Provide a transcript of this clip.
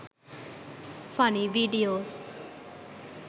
funny videos